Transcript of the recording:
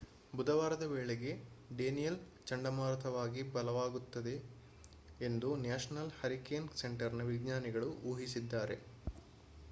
ಬುಧವಾರದ ವೇಳೆಗೆ ಡೇನಿಯೆಲ್‌ ಚಂಡಮಾರುತವಾಗಿ ಬಲವಾಗುತ್ತದೆ ಎಂದು ನ್ಯಾಷನಲ್ ಹರಿಕೇನ್ ಸೆಂಟರ್‌ನ ವಿಜ್ಞಾನಿಗಳು ಊಹಿಸಿದ್ದಾರೆ